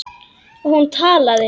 Og hún talaði.